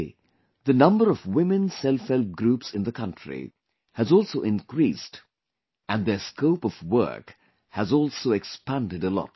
Today, the number of women selfhelp groups in the country has also increased and their scope of work has also expanded a lot